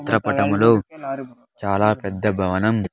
ఈ చిత్ర పటములో చాలా పెద్ద భవనం.